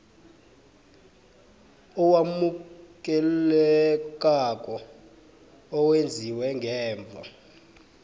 owamukelekako owenziwe ngemva